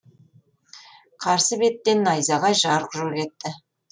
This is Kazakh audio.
қарсы беттен найзағай жарқ жұрқ етті